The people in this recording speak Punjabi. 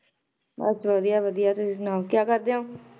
ਬਸ ਵਧੀਆ ਵਧੀਆ ਤੁਸੀਂ ਸੁਣਾਓ ਕਿਆ ਕਰਦੇ ਹੋ?